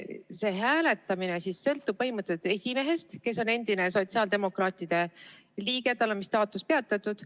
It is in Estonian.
See hääletamine sõltub põhimõtteliselt esimehest, kes on endine sotsiaaldemokraatide liige, kuigi tema staatus on vist peatatud.